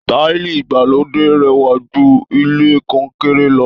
Táìlì ìgbàlódé rẹwa jú ilẹ kọnkéré lọ.